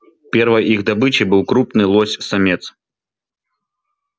первой их добычей был крупный лось самец